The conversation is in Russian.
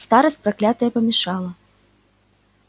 старость проклятая помешала